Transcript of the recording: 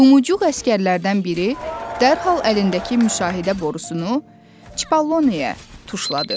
Lumuçuq əsgərlərdən biri dərhal əlindəki müşahidə borusunu Çipalloniyə tuşladı.